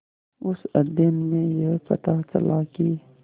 उस अध्ययन में यह पता चला कि